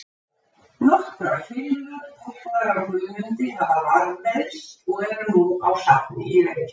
Nokkrar filmur, teknar af Guðmundi, hafa varðveist og eru nú á safni í Reykjavík.